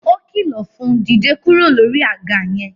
O kilọ fún, "Dìde kúrò lórí àga yẹn!